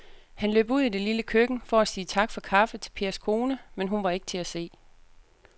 Han løb ud i det lille køkken for at sige tak for kaffe til Pers kone, men hun var ikke til at se.